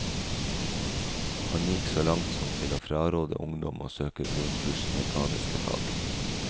Han gikk så langt som til å fraråde ungdom å søke grunnkurs i mekaniske fag.